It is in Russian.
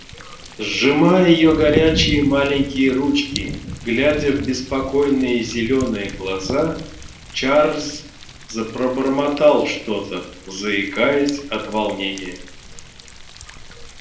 сжимая её горячие маленькие ручки глядя в беспокойные зелёные глаза чарлз пробормотал что-то заикаясь от волнения